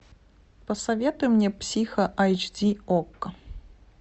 посоветуй мне психо айч ди окко